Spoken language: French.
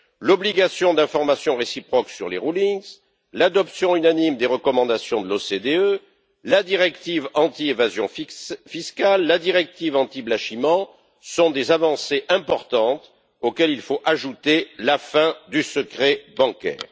L'obligation d'information réciproque sur les rulings l'adoption unanime des recommandations de l'OCDE, la directive anti évasion fiscale, la directive anti blanchiment sont des avancées importantes, auxquelles il faut ajouter la fin du secret bancaire.